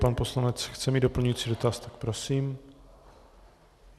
Pan poslanec chce mít doplňující dotaz, tak prosím.